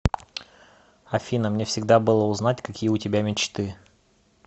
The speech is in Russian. афина мне всегда было узнать какие у тебя мечты